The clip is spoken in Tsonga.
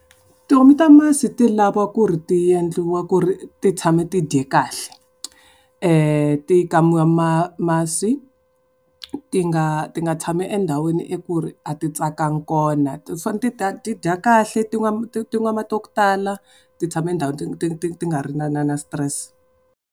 Tihomu ta masi ti lava ku ri ti endliwa ku ri ti tshama ti dye kahle. Ti kamiwa masi, ti nga ti nga tshami endhawini ya ku ri a ti tsakanga kona. Ti fane ti ti dya kahle, ti n'wa ti n'wa mati ya ku tala. Ti tshama ndhawu ti ti ti ti ti nga ri na na na stress.